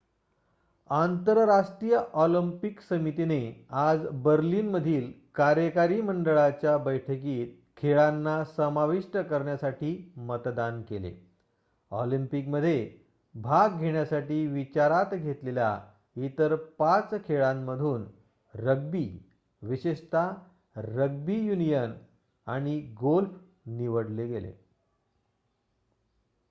आंतरराष्ट्रीय ऑलिम्पिक समितीने आज बर्लिनमधील कार्यकारी मंडळाच्या बैठकीत खेळांना समाविष्ट करण्यासाठी मतदान केले ऑलिम्पिकमध्ये भाग घेण्याकरिता विचारत घेतलेल्या इतर 5 खेळांमधून रग्बी विशेषतः रग्बी युनियन आणि गोल्फ निवडले गेले